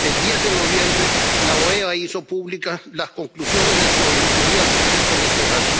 El 10 de noviembre, la OEA hizo públicas las conclusiones de su auditoría al proceso electoral.